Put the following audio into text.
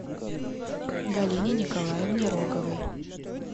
галине николаевне роговой